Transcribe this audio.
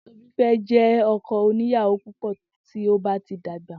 Tobi fé jé ọkọ oní ìyàwó púpọ̀ tí ó bá ti dàgbà.